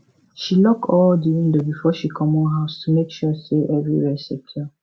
she lock all the windows before she comot house to make sure say everywhere secure